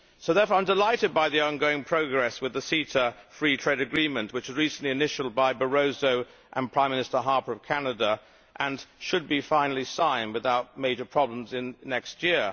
So therefore I am delighted by the ongoing progress with the CETA free trade agreement which was recently initialled by Mr Barroso and Prime Minister Harper of Canada and should be finally signed without major problems next year.